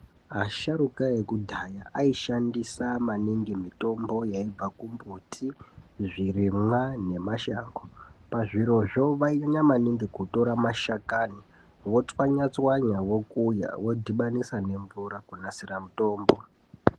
Asharuka ekudhaya aishandisa maningi mitombo yaibva kumbuti zvirimwa nemashango pazvirozvo vainyanya maningi kutora mashakani votswanya tswanya vokuya vodhibanisa nemvura kunasira mutombo.